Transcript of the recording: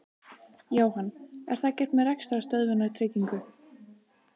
Jóhann: Er það gert með rekstrarstöðvunartryggingu?